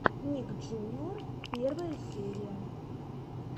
ник джуниор первая серия